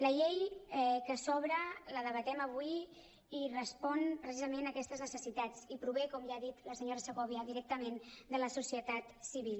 la llei que s’obre la debatem avui i respon precisament a aquestes necessitats i prové com ja ha dit la senyora segovia directament de la societat civil